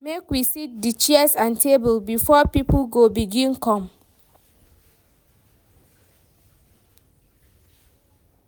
Make we set di chairs and tables, before pipo go begin come.